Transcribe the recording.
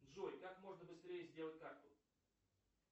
джой как можно быстрее сделать карту